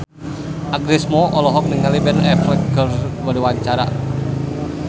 Agnes Mo olohok ningali Ben Affleck keur diwawancara